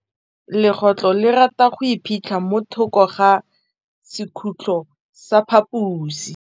Legôtlô le rata go iphitlha mo thokô ga sekhutlo sa phaposi.